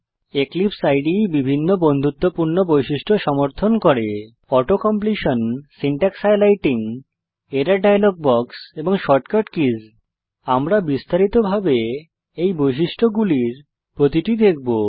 এক্লিপসে ইদে বিভিন্ন বন্ধুত্বপূর্ণ বৈশিষ্ট্য সমর্থন করে auto completion auto completion syntax highlighting syntax highlighting error dialog box error dialog box এবং শর্টকাট কিস শর্টকাট কী আমরা বিস্তারিতভাবে এই বৈশিষ্ট্যগুলির প্রতিটি দেখব